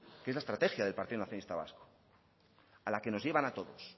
que es la estrategia del partido nacionalista vasco a la que nos llevan a todos